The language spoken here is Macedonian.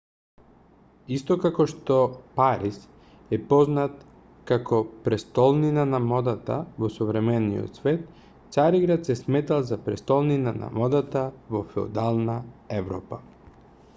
исто како што париз е познат како престолнина на модата во современиот свет цариград се сметал за престолнина на модата во феудална европа